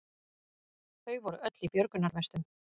Þau voru öll í björgunarvestum